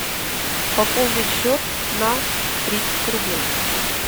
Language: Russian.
пополнить счет на тридцать рублей